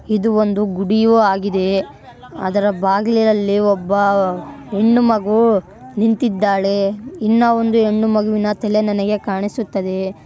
ಇದು ಒಂದು ಗುಡಿಯೂ ಆಗಿದೆ ಅದರ ಬಾಗಿಲಿನಲ್ಲಿ ಒಬ್ಬ ಹೆಣ್ಣು ಮಗು ನಿಂತಿದ್ದಾಳೆ ಇನ್ನಒಂದು ಹೆಣ್ಣು ಮಗುವಿನ ತಲೆ ನನಗೆ ಕಾಣಿಸುತ್ತದೆ.